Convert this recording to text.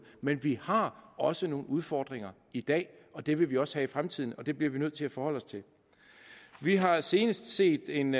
men vi har også nogle udfordringer i dag og det vil vi også have i fremtiden og det bliver vi nødt til at forholde os til vi har senest set en